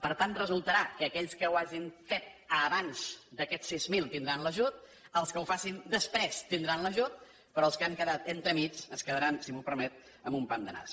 per tant resultarà que aquells que ho hagin fet abans d’aquests sis mil tindran l’ajut els que ho facin després tindran l’ajut però els que han quedat entremig es quedaran si m’ho permet amb un pam de nas